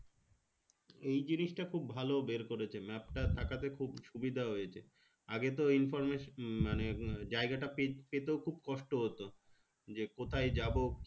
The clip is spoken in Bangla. এই জিনিসটা খুব ভালো বের করেছে map তা থাকাতে খুব সুবিধা হয়েছে আগে তো informant হম মানে জায়গাটা পে পেতেও খুব কষ্ট হতো যে কোথায় যাবো